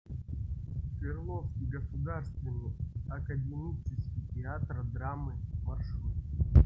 свердловский государственный академический театр драмы маршрут